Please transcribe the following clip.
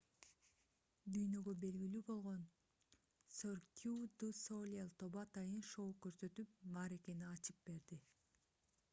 дүйнөгө белгилүү болгон cirque du soleil тобу атайын шоу көрсөтүп мааракени ачып берди